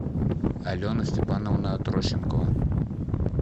алена степановна трощенко